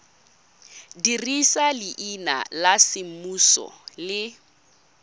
dirisa leina la semmuso le